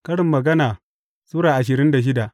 Karin Magana Sura ashirin da shida